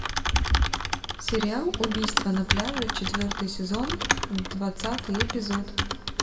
сериал убийство на пляже четвертый сезон двадцатый эпизод